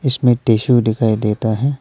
इसमें टिशू दिखाई देता है।